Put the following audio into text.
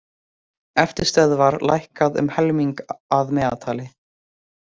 Eftirstöðvar lækkað um helming að meðaltali